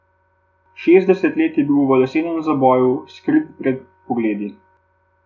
Šestdeset let je bil v lesenem zaboju, skrit pred pogledi.